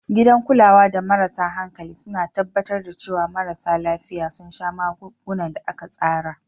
Gidan kulawa da marasa hankali suna tabbatar da cewa marasa lafiya sun sha magungunan da aka tsara.